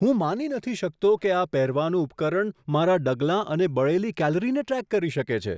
હું માની નથી શકતો કે આ પહેરવાલાયક ઉપકરણ મારા પગલાં અને બળી ગયેલી કેલરીને ટ્રેક કરી શકે છે.